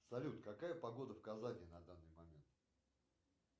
салют какая погода в казани на данный момент